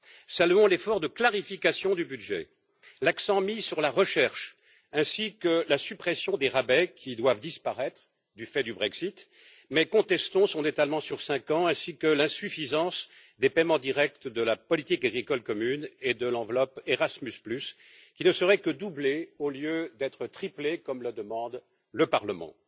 Saluons l'effort de clarification du budget, l'accent mis sur la recherche ainsi que la suppression des rabais qui doivent disparaître du fait du Brexit mais contestons son étalement sur cinq ans ainsi que l'insuffisance des paiements directs de la politique agricole commune et de l'enveloppe Erasmus qui ne serait que doublée au lieu d'être triplée comme le demande le Parlement.